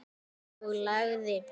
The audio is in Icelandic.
Og lagið?